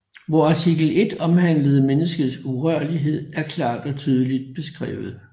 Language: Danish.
Hvor artikel 1 omhandlende menneskets urørlighed er klart og tydeligt beskrevet